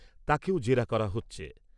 তাকেও জেরা করা হচ্ছে।